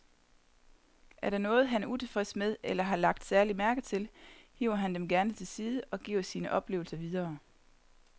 Er der noget, han er utilfreds med eller har lagt særlig mærke til, hiver han dem gerne til side og giver sine oplevelser videre.